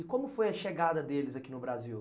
E como foi a chegada deles aqui no Brasil?